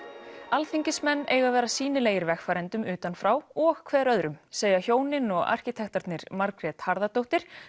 alþingismenn eiga að vera sýnilegir vegfarendum utan frá og hver öðrum segja hjónin og arkitektarnir Margrét Harðardóttir